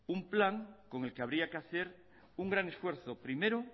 un plan con el que habría que hacer un gran esfuerzo primero